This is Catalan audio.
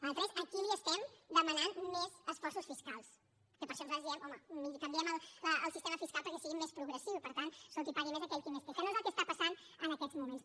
nosaltres aquí li estem demanant més esforços fiscals que per això nosaltres diem home canviem el sistema fiscal perquè sigui més progressiu i per tant escolti que pagui més aquell qui més té que no és el que està passant en aquests moments